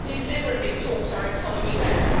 They deliberately talked our economy down.